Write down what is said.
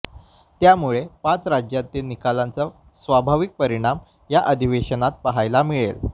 त्यामुळे पाच राज्यांतील निकालांचा स्वाभाविक परिणाम या अधिवेशनात पाहायला मिळेल